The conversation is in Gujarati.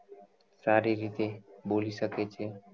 સારી રીતે બોલી શકે છે